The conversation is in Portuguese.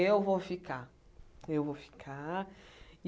Eu vou ficar, eu vou ficar.